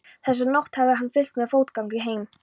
Þessa nótt hafði hann fylgt mér fótgangandi heim.